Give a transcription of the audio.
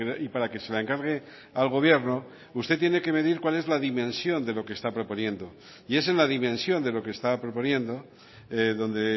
y para que se la encargue al gobierno usted tiene que medir cuál es la dimensión de lo que está proponiendo y es en la dimensión de lo que está proponiendo donde